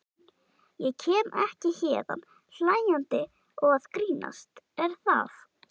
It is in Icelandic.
Ég kem ekki héðan hlæjandi og að grínast, er það?